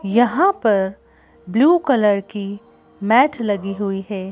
यहाँ पर blue colour की मैट लगी हुई है।